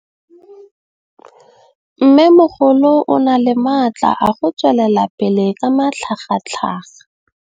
Mmêmogolo o na le matla a go tswelela pele ka matlhagatlhaga.